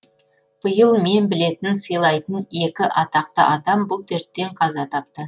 биыл мен білетін сыйлайтын екі атақты адам бұл дерттен қаза тапты